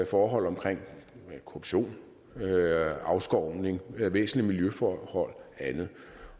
forhold omkring korruption afskovning væsentlige miljøforhold og andet